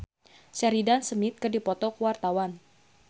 Bayu Octara jeung Sheridan Smith keur dipoto ku wartawan